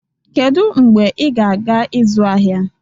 Kedu mgbe ị ga-aga ịzụ ahịa?